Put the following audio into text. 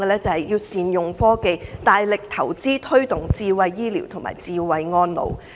政府應該大力投資、推動智慧醫療和智慧安老。